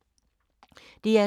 DR2